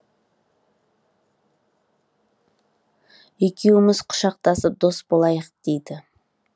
екеуіміз құшақтасып дос болайық дейді